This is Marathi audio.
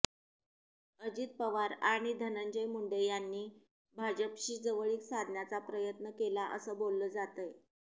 अजित पवार आणि धनंजय मुंडे यांनी भाजपशी जवळीक साधण्याचा प्रयत्न केला असं बोललं जातंय